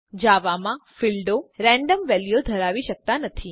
જાવા માં ફીલ્ડો રેન્ડમ વેલ્યુઓ ધરાવી શકતા નથી